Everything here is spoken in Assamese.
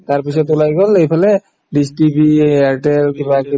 তাৰপিছত ওলাই গল এইফালে DISH TV এয়াৰটেল কিবাকিবি